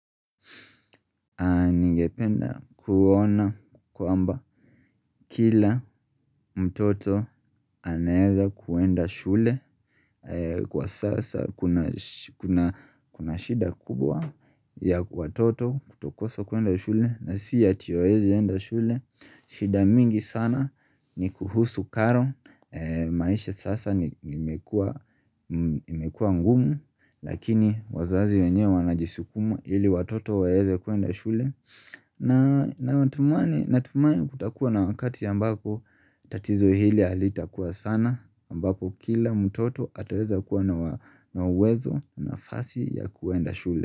Ningependa kuona kwamba kila mtoto anaeza kuenda shule Kwa sasa kuna shida kubwa ya watoto kutokosa kuenda shule na siya tiyo ezi enda shule shida mingi sana ni kuhusu karo maisha sasa imekua ngumu Lakini wazazi wenye wanajisukumu ili watoto waeze kuenda shule na tumani kutakuwa na wakati ambako tatizo hili halita kuwa sana ambako kila mutoto ataweza kuwa na uwezo na fasi ya kuenda shule.